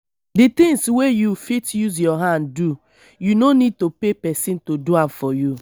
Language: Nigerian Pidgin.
di things wey you fit use your hand do you no need to pay person to do am for you